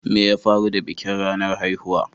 Me ya faru da bikin ranar haihuwa?